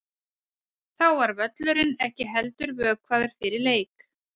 Þá var völlurinn ekki heldur vökvaður fyrir leik.